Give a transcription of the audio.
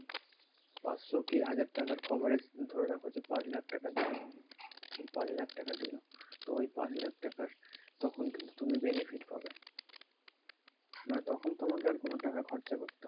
পাঁচশো কি হাজার টাকার cover এ ধরে রাখো যে পাঁচ লাখ টাকা দিলো, পাঁচ লাখ টাকা দিলো তো ওই পাঁচ লাখ টাকার তখন কিন্তু তুমি benefit পাবে। মানে তখন তোমাকে আর কোনো টাকা খরচা করতে হবে না।